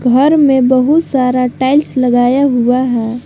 घर में बहुत सारा टाइल्स लगाया हुआ है।